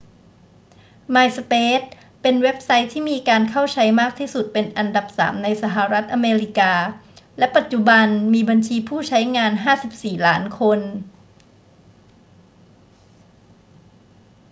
myspace เป็นเว็บไซต์ที่มีการเข้าใช้มากที่สุดเป็นอันดับสามในสหรัฐอเมริกา และปัจจุบันมีบัญชีผู้ใช้งาน 54 ล้านคน